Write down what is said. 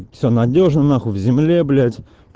все надёжно нахуй в земле блять